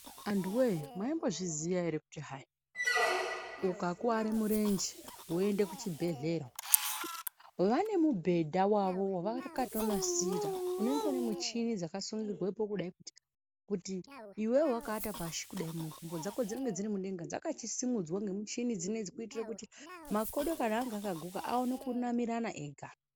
Antuwee maimbozviziya ere kuti hai ukakuware murenje woende kuchibhehlera vane mubhedha wavo wavakatonasira unenge une michini dzakasungirwepo kudai kuti iwewe wakaata pashi kudai mikumbo dzako dzinenge dziri mudenga dzakachisimudzwa ngemuchini kuitira kuti makodo kana anga akaguka aone kunamirana ega.